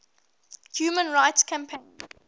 human rights campaign